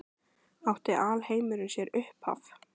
Átti alheimurinn sér upphaf?